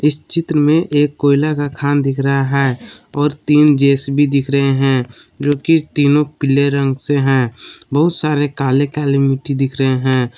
इस चित्र में एक कोयला का खान दिख रहा है और तीन जे_सी_बी दिख रहे हैं जो कि तीनों पीले रंग से हैं बहुत सारे काले काले मिट्टी दिख रहे हैं।